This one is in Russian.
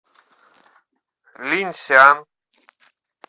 линьсян